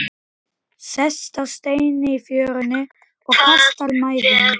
Sest á stein í fjörunni og kastar mæðinni.